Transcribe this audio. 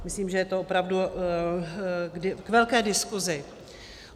Myslím, že je to opravdu k velké diskusi.